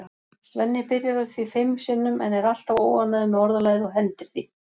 Svenni byrjar á því fimm sinnum en er alltaf óánægður með orðalagið og hendir því.